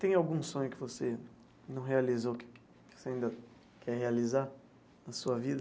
Tem algum sonho que você não realizou que você ainda quer realizar na sua vida?